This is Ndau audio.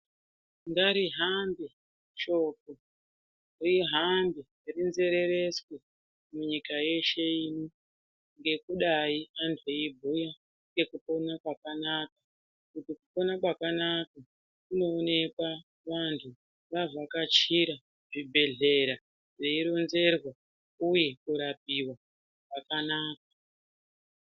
Ngarihambe shoko rihambe rinzerereswe munyika yeshe ino ngekudayi antu eibhuya ngekupona kwakanaka kuti kupona kwakanaka kunooneka antu avhakachira zvibhedhlera veironzerwa uye kurapiwa kwakanaka.